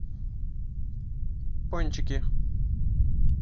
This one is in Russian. пончики